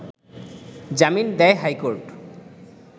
জামিন দেয় হাইকোর্ট